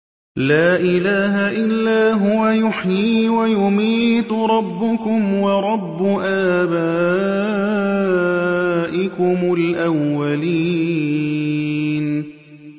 لَا إِلَٰهَ إِلَّا هُوَ يُحْيِي وَيُمِيتُ ۖ رَبُّكُمْ وَرَبُّ آبَائِكُمُ الْأَوَّلِينَ